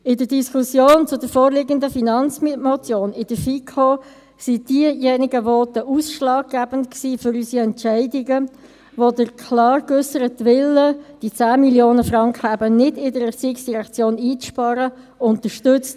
In der Diskussion zur vorliegenden Finanzmotion in der FiKo waren diejenigen Voten für unsere Entscheidungen ausschlaggebend, die den klar geäusserten Willen, diese 10 Mio. Franken eben nicht in der ERZ einzusparen, unterstützten.